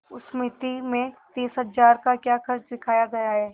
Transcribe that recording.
उस मिती में तीस हजार का क्या खर्च दिखाया गया है